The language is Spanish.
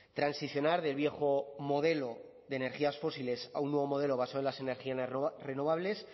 transicionar del viejo modelo de energías fósiles a un nuevo modelo basado en las energías renovables